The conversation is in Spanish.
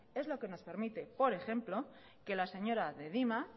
es lo que nos permite por ejemplo que la señora de dima